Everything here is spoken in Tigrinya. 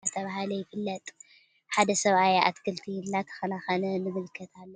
እዚ ካብቶም አብ እዋን ሓጋይ ሓሮስቶት ተወሳኪ እቶት ንምርካብ ዘዘጋጅውዎ ወይም ዝሰርሕዎ ስራሕቲ መስኖ ዳተብሃለ ይፍለጥ::ሓደ ሰብአይ አትክልቲ እንዳተከናከነ ንምልከት አለና::